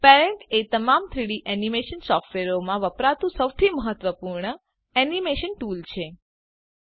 parent એ તમામ 3ડી એનીમેશન સોફ્ટવેરોમાં વપરાતું સૌથી મહત્વપૂર્ણ એનીમેશન ટૂલ છે